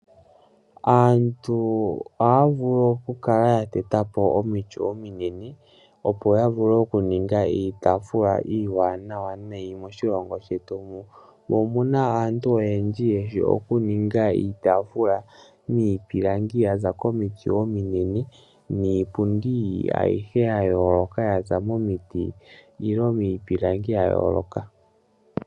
Aantu ohaya vulu okukala ya teta po omiti ominene opo ya vule okuninga iitafula iiwanawa nayi moshilongo shetu mu. Mo omuna aantu oyendji yeshi okuninga iitaafula miipilangi yaza komiti ominene, niipundi ayihe ya yooloka yaza momiti nenge miipilangi ya yooloka.